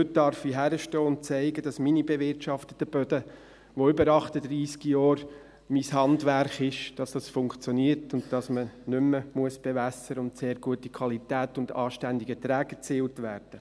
Heute darf ich hinstehen und zeigen, dass es mit meinen bewirtschafteten Böden, welche über 38 Jahre mein Handwerk sind, funktioniert, dass man nicht mehr bewässern muss und sehr gute Qualität und anständige Erträge erzielt werden.